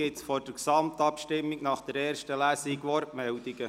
Gibt es vor der Gesamtabstimmung zur ersten Lesung Wortmeldungen?